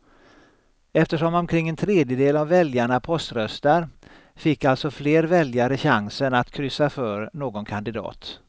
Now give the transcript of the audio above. Eftersom omkring en tredjedel av väljarna poströstar fick alltså fler väljare chansen att kryssa för någon kandidat.